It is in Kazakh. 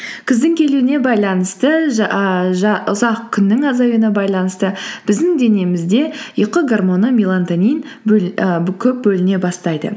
күздің келуіне байланысты ұзақ күннің азаюына байланысты біздің денемізде ұйқы гормоны мелатонин і көп бөліне бастайды